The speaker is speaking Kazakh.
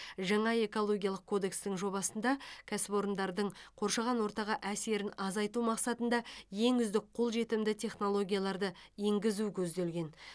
жаңа экологиялық кодекстің жобасында кәсіпорындардың қоршаған ортаға әсерін азайту мақсатында ең үздік қолжетімді технологияларды енгізу көзделген